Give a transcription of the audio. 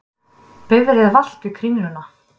Bifreið valt við Kringluna